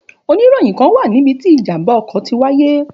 Òníròyìn kán wá níbití ìjàmbá ọkọ̀ tí wáyé